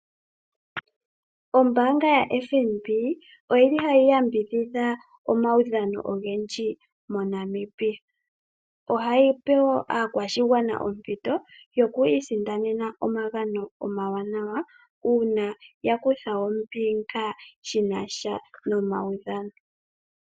Ombaanga yaFNB oyili hayi yambidhidha omaudhano ogendji moNamibia. Ohayi gandja wo aakwashigwana ompito yokwiisindanena omagano omawanawa uuna ya kutha ombinga shinasha nomaudhano.